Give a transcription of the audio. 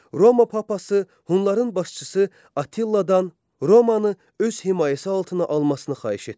Roma papası Hunların başçısı Attiladan Romanı öz himayəsi altına almasını xahiş etdi.